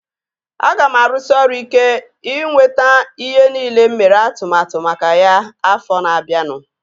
Aga m arụsị ọrụ ike ịnweta ihe nile mụ mere atụmatụ maka ya afọ na-abianu